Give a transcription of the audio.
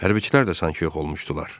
Hərbçilər də sanki yox olmuşdular.